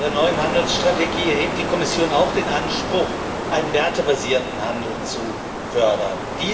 Mit ihrer neuen Handelsstrategie erhebt die Kommission auch den Anspruch, einen wertebasierten Handel zu fördern.